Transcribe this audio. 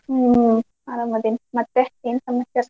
ಹ್ಮ್ ಆರಾಮದೇನಿ ಮತ್ತೆ ಏನ್ ಸಮಾಚಾರ?